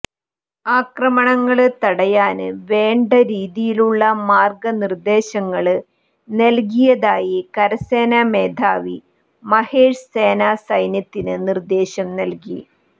ആക്രമണങ്ങള് തടയാന് വേണ്ട രീതിയിലുള്ള മാര്ഗ നിര്ദ്ദേശങ്ങള് നല്കിയതായി കരസേന മേധാവി മഹേഷ് സേനാ സൈന്യത്തിന് നിര്ദ്ദേശം നല്കി